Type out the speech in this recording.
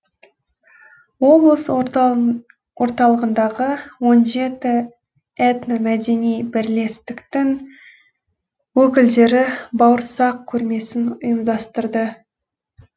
облыс орталығындағы он жеті этно мәдени бірлестіктің өкілдері бауырсақ көрмесін ұйымдастырды